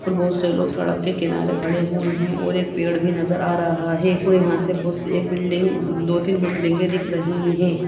और बहुत से लोग सड़क के किनारे खड़े हुए है और एक पेड़ भी नजर आ रहा है और यहाँ से बस एक बिलिंग दो तिन बिल्डिंगे दिख रही है।